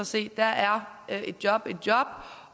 se er er et job et job